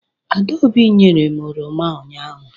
Adaobi nyere m oroma ụnyahụ.